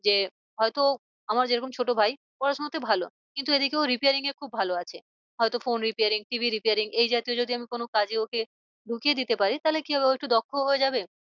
যে হয় তো আমার যে রকম ছোটো ভাই পড়া শোনাতে ভালো কিন্তু এদিকে ও repairing এ খুব ভালো আছে। হয় তো phone repairing TV repairing এই জাতীয় যদি আমি কোনো কাজে ওকে ঢুকিয়ে দিতে পারি তাহলে কি হবে ও একটু দক্ষ হয়ে যাবে।